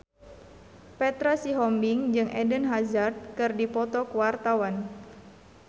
Petra Sihombing jeung Eden Hazard keur dipoto ku wartawan